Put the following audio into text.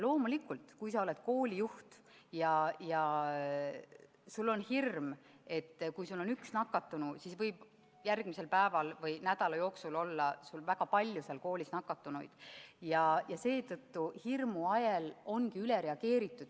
Loomulikult, kui sa oled koolijuht ja sul on hirm, et kui sul on üks nakatunu, siis võib järgmisel päeval või nädala jooksul olla sul väga palju seal koolis nakatunuid, siis hirmu ajel ongi üle reageeritud.